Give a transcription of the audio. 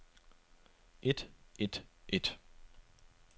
et et et